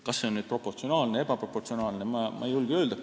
Kas see on proportsionaalne või ebaproportsionaalne, seda ma ei julge öelda.